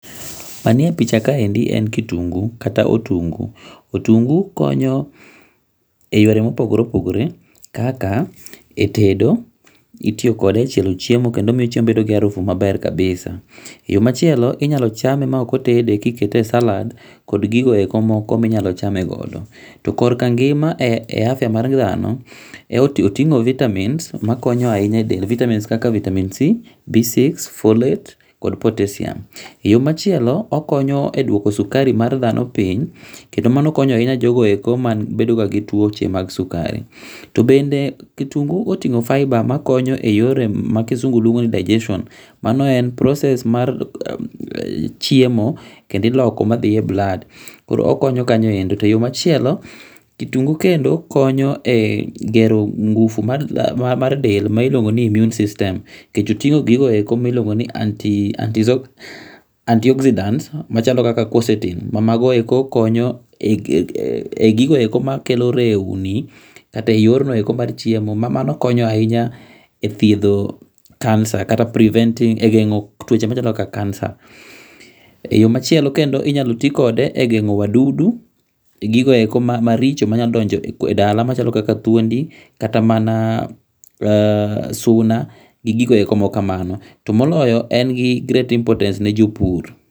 Manie picha kaendi en kitungu kata otungu. Otungu konyo e yore ma opogore opogore kaka e tedo, itiyo kode e chielo chiemo kendo miyo chiemo bedo gi arufu maber kabisa. Yoo machielo inyalo chamo maok otede ka okete e salad kod gigo eko minyalo chame godo. To korka ngima e afya mar dhano ,otingo Vitamins makonyo ahinya e del vitamins kaka vitamin C,B6 ,Folate kod potassium. Yoo machielo okonyo e duoko sukari mar dhano piny kendo mano konyo ahinya jogo eko mabedo ga gi tuoche mag sukari. Tobende kitungu otingo fibre ma dho kisungu luongi ni digeston[s] mano en process mar chiemo kendo iloko madhie blood, okonyo kanyo endo . E yoo machielo, kitungu kendo konyo e gero ngufu mar del miluongo ni immune system nikech otingo gigo eko miluongo ni anti ,anti anti oxidant, machalo kaka corsetin ma mago eko konyo e gigo eko makelo rewni kata e yorno eko mar chiemo mamano konyo ahinya e thiedho kansa kata preventing kata gengo tuoche kaka kansa. E yoo machielo kendo inyalo tii kode e gengo wadudu, gigo eko maricho manya donjoe dala machalo kaka thuondi kata mana suna gi gigi makamano. Tomoloyo en gi great importance ne jopur